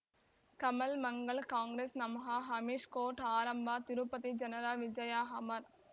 ಕಮಲ್ ಮಂಗಳ್ ಕಾಂಗ್ರೆಸ್ ನಮಃ ಅಮಿಷ್ ಕೋರ್ಟ್ ಆರಂಭ ತಿರುಪತಿ ಜನರ ವಿಜಯ ಅಮರ್